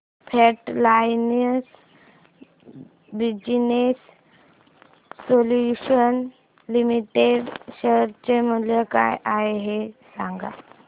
frontline Business Solutions Limited share चे मूल्य काय आहे हे सांगा